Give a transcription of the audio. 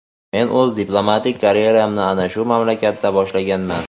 Men o‘z diplomatik karyeramni ana shu mamlakatdan boshlaganman.